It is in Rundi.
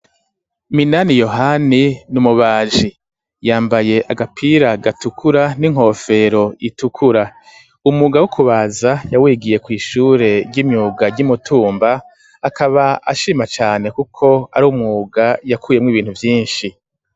Minani yohani n'umubaji yambaye agapira gatukura n'inkofero itukura umwuga wo kubaza yawigiye kw'ishure ry'imyuga ry'imutumba akaba ashima cane kuko ari umwuga yakuyemwo ibintu vyinshi.